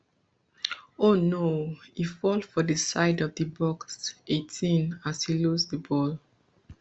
oh no e fall for di side of di box eighteen as e lose di ball